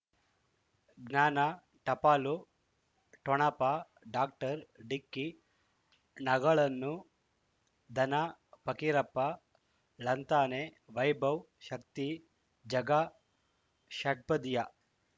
ಜ್ಞಾನ ಟಪಾಲು ಠೊಣಪ ಡಾಕ್ಟರ್ ಢಿಕ್ಕಿ ಣಗಳನು ಧನ ಫಕೀರಪ್ಪ ಳಂತಾನೆ ವೈಭವ್ ಶಕ್ತಿ ಝಗಾ ಷಟ್ಪದಿಯ